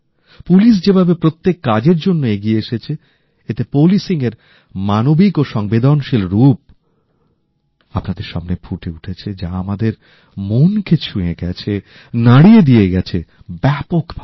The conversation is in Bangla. পুলিশ যেভাবে প্রত্যেক কাজের জন্য এগিয়ে এসেছে এতে তাঁদের কাজের মানবিক ও সংবেদনশীল রূপ আপনাদের সামনে ফুটে উঠেছে যা আমাদের মন কে ছুঁয়ে গেছে নাড়িয়ে দিয়ে গেছে ব্যাপকভাবে